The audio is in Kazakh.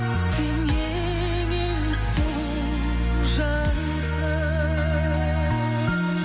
сен ең ең сұлу жансың